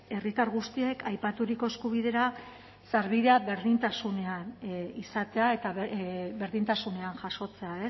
herritar guztiek aipaturiko eskubidera sarbidea berdintasunean izatea eta berdintasunean jasotzea